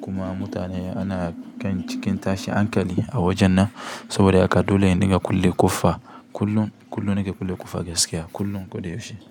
kuma mutane ana kan cikin tashi hankali a wajen nan saboda haka dole in dinga kulle ƙofa kullum, kullum nake kulle ƙofa gaskiya kullum ko da yaushe.